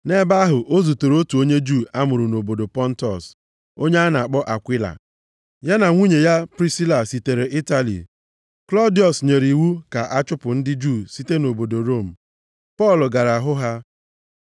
Nʼebe ahụ o zutere otu onye Juu a mụrụ nʼobodo Pọntọs, onye a na-akpọ Akwila. Ya na nwunye ya Prisila sitere Itali Klọdiọs nyere iwu ka a chụpụ ndị Juu site nʼobodo Rom. Pọl gara hụ ha,